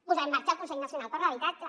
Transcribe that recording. posar en marxa el consell nacional per l’habitatge